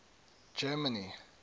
germany